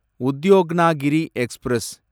Udyognagari express